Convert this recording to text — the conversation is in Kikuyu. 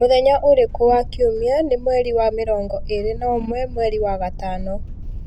mũthenya uriku wa kiumia nĩ mweri wa mĩrongo ĩĩrĩ na ũmwe mweri wa gatano